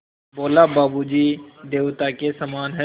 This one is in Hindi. बोला बाबू जी देवता के समान हैं